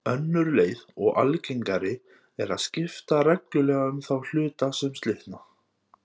Önnur leið og algengari er að skipta reglulega um þá hluta sem slitna.